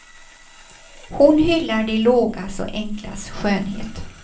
Hon hyllar det lågas och enklas skönhet.